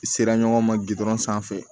Sera ɲɔgɔn ma gdɔrɔn sanfɛ